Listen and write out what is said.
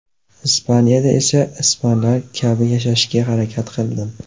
Ispaniyada esa ispanlar kabi yashashga harakat qildim.